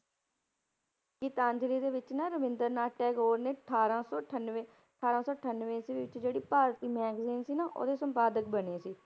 ਗੀਤਾਂਜ਼ਲੀ ਦੇ ਵਿੱਚ ਨਾ ਰਵਿੰਦਰਨਾਥ ਟੈਗੋਰ ਨੇ ਅਠਾਰਾਂ ਸੌ ਅਠਾਨਵੇਂ, ਅਠਾਰਾਂ ਸੌ ਅਠਾਨਵੇਂ ਈਸਵੀ ਵਿੱਚ ਜਿਹੜੀ ਭਾਰਤੀ magazine ਸੀ ਨਾ ਉਹਦੇ ਸੰਪਾਦਕ ਬਣੇ ਸੀ।